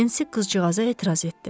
Nensi qızcığaza etiraz etdi.